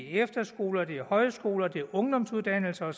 efterskoler det er højskoler det er ungdomsuddannelser